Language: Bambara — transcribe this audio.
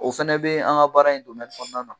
O fana bɛ an ka baara in kɔnɔna na.